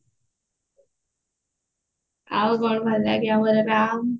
ଆଉ କଣ ଭଲ ଲାଗେ ଆଉ ମୋର ହେଲା